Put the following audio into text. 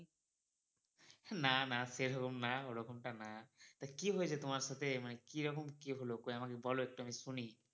না না, সেরকম না ওরকমটা না। তা কি হয়েছে তোমার সাথে মানে কি রকম কি হলো কই আমাকে বলো একটু আমি শুনি।